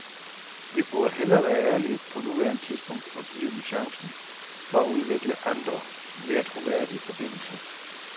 Vi burde hellere være ærlige på nuværende tidspunkt og give dem chancen for at udvikle andre, mere troværdige forbindelser.